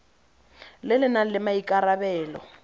le le nang le maikarabelo